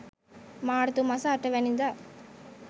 මාර්තු මස 08 වැනිදා